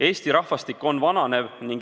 Eesti rahvastik vananeb.